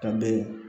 Ka bɛ